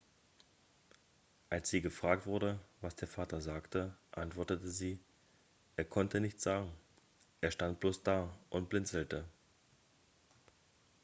als sie gefragt wurde was der vater sagte antwortete sie er konnte nichts sagen er stand bloß da und blinzelte